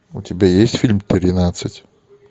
у тебя есть фильм тринадцать